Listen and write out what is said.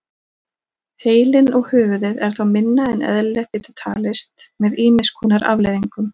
Heilinn og höfuðið er þá minna en eðlilegt getur talist með ýmis konar afleiðingum.